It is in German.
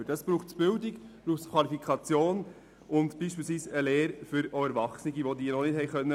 Dafür braucht es Bildung, Qualifikation und beispielsweise eine Lehre für diejenigen Erwachsenen, die noch keine absolvieren konnten.